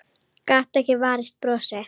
Gat ekki varist brosi.